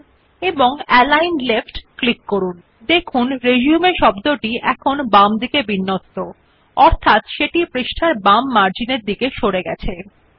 যদি আমরা উপর অ্যালিগন রাইট ক্লিক করুন আপনি যে শব্দ রিসিউম বর্তমানে পৃষ্ঠার ডান হয় প্রান্তিককৃত দেখতে পাবেন If we click on align right you will see that the word resume is now aligned to the right of the page